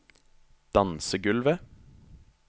dansegulvet